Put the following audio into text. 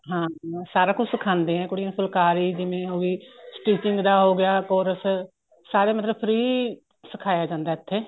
ਹਾਂ ਸਾਰਾ ਕੁੱਝ ਸਿਖਾਂਦੇ ਏ ਕੁੜੀਆਂ ਨੂੰ ਫੁਲਕਾਰੀ ਜਿਵੇਂ ਹੋ ਗਈ stitching ਦਾ ਹੋ ਗਿਆ course ਸਾਰੇ ਮਤਲਬ free ਸਿਖਾਇਆ ਜਾਂਦਾ ਇੱਥੇ